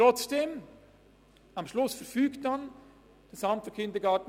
Trotzdem: Am Schluss verfügt das AKVB.